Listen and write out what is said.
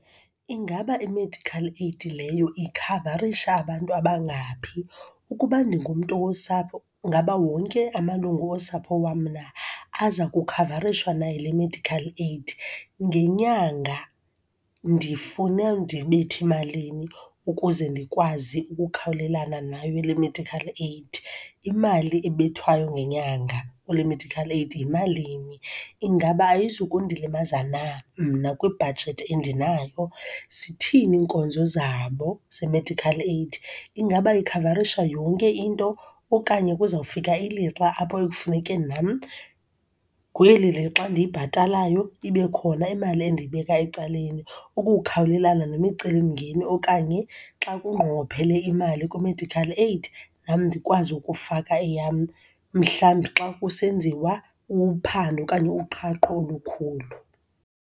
Ingaba i-medical aid leyo ikhavarisha abantu abangaphi? Ukuba ndingumntu wosapho ngaba wonke amalungu osapho wam mna aza kukhavarishwa na yile medical aid. Ngenyanga ndifune ndibethe malini ukuze ndikwazi ukukhawulelana nayo le medical aid? Imali ebethwayo ngenyanga kule medical aid yimalini? Ingaba ayizu kundilimaza na mna kwibhajethi endinayo? Zithini iinkonzo zabo ze-medical aid. Ingaba ikhavarisha yonke into okanye kuzawufika ilixa apho ekufuneke nam kweli lixa ndiyibhatalayo ibe khona imali endiyibeka ecaleni ukukhawulelana nemicelimngeni okanye xa kunqongophelo imali kwi-medical aid, nam ndikwazi ukufaka eyam mhlawumbi xa kusenziwa uphando okanye uqhaqho olukhulu.